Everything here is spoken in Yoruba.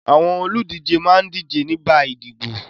Àwọn olùdíje máa ń díje nígbà ìdìbò.